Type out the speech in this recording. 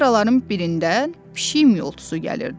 Kameraların birindən pişik miyoltusu gəlirdi.